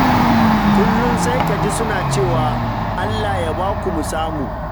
Kullum sai ka ji suna cewa; "Allah ya ba ku mu samu"!